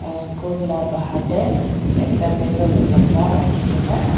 school la bahar te ekta table lamba rakhi kene.